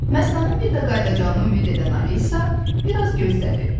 Məstanın bir də qayıdacağını ümid edən Alisa, bir az gözlədi.